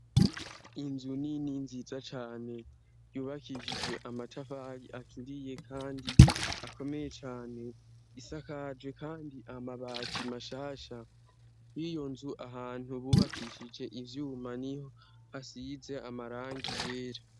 Inzu ni ni nziza cane yubakishijwe amatafari aturiye, kandi akomeye cane isakajwe, kandi amabati mashasha y'iyo nzu ahantu bubakishije ivyuma ni ho hasize amarangi yera.